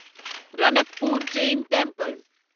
Ranakpur Jain temple